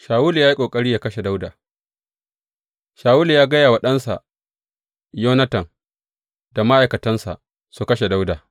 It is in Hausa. Shawulu ya yi ƙoƙari yă kashe Dawuda Shawulu ya gaya wa ɗansa Yonatan da ma’aikatansa su kashe Dawuda.